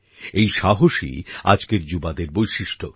এই সাহসই আজকের যুবাদের বৈশিষ্ট্য